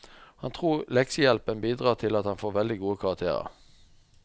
Han tror leksehjelpen bidrar til at han får veldig gode karakterer.